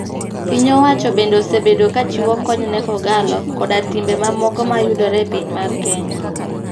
Piny owacho bende osebedo ka chiwo kony ne kogallo koda timbe ma moko mayudore e piny mar Kenya.